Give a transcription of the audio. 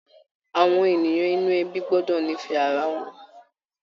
Àwọn ènìyàn inú ẹbí gbọ́dọ̀ nífẹ̀ẹ́ ara wọn.